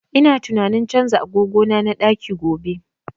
Ina tunanin canza agogo na na ɗaki gobe